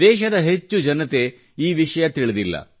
ದೇಶದ ಹೆಚ್ಚು ಜನತೆ ಈ ವಿಷಯ ತಿಳಿದಿಲ್ಲ